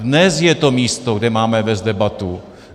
Dnes je to místo, kde máme vést debatu.